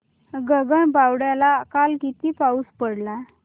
गगनबावड्याला काल किती पाऊस पडला